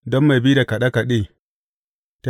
Don mai bi da kaɗe kaɗe.